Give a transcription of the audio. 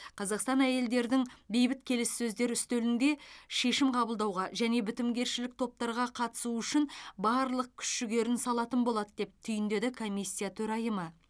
қазақстан әйелдердің бейбіт келіссөздер үстелінде шешім қабылдауға және бітімгершілік топтарға қатысуы үшін барлық күш жігерін салатын болады деп түйіндеді комиссия төрайымы